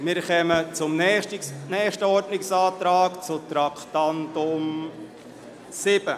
Wir kommen zum nächsten Ordnungsantrag betreffend Traktandum 7.